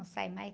Não sai mais.